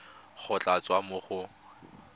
go tla tswa mo go